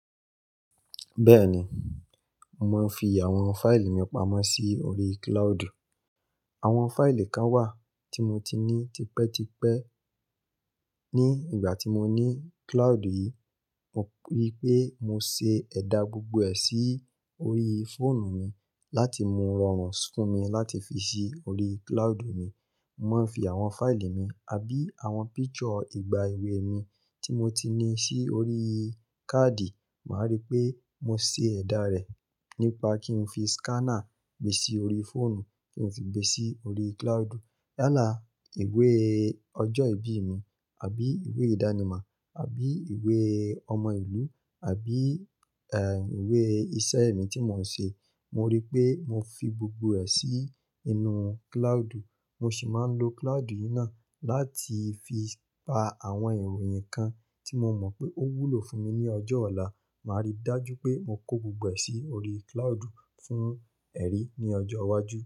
Bẹ́ẹ̀ ni, mò ń fi àwọn fáìlì mi pamọ́ sí orí cloud. Àwọn fáìlì kan wà tí mo ti ní tipẹ́tipẹ́ ní ìgbà tí mo ní cloud yìí. Mo rí pé mo ṣe ẹ̀dà gbogbo ẹ̀ sí orí fóònù mi láti mú rọrùn fún mi láti fi sí orí cloud mi. Mo máa ń fi àwọn fáìlì mi àbí àwọn picture ìgbà èwe mi tí mo ti ní sí orí káàdì, màá rí pé mo ṣe ẹ̀dà rẹ̀ nípa kí n fi scanner gbe sí orí fóònù kí n sì gbe sí orí cloud. Yálà ìwé ọjọ́ ìbí mi àbí ìwé ìdánimọ̀ àbí ìwé ọmọ ìlú àbí eh ìwé iṣẹ́ mi tí mò ń ṣe, mo rí pé mo fi gbogbo ẹ̀ sí inú cloud. Mo sì máa ń lo cloud yìí náà láti fi pa àwọn ìròyìn kan tí mo mọ̀ pé ó wúlò fún mi ní ọjọ́ ọ̀la. Màá rí dájú pé mo kó gbogbo ẹ̀ sí orí cloud fún ẹrí ní ọjọ́ iwájú.